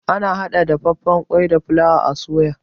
Ana hada dafaffan kwai da fulawa a soya.